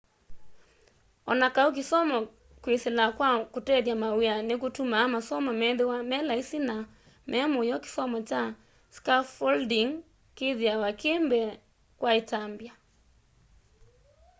o na kau kisomo kwisila kwa kutethya mawia nikutumaa masomo methĩwe me laisi na memũyo kisomo kya scaffolding kithiawa ki mbee kwa itambya